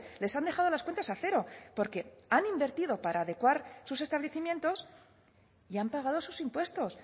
les han dejado las cuentas a cero porque han invertido para adecuar sus establecimientos y han pagado sus impuestos